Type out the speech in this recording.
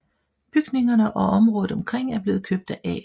Bygningerne og området omkring er blevet købt af A